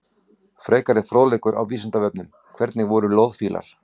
Frekari fróðleikur á Vísindavefnum: Hvernig voru loðfílar?